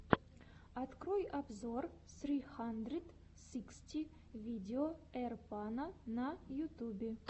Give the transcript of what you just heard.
открой обзор сри хандрэд сиксти видео эйрпано на ютюбе